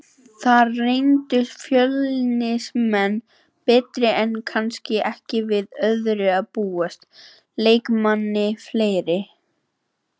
Þar reyndust Fjölnismenn betri enda kannski ekki við öðru að búast, leikmanni fleiri.